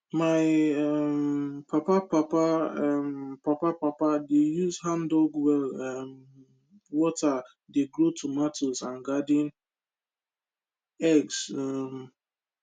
my um papa papa um papa papa dey use handdug well um water dey grow tomatoes and garden eggs um